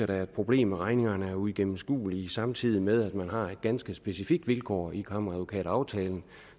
er et problem at regningerne er uigennemskuelige samtidig med at man har et ganske specifikt vilkår i kammeradvokataftalen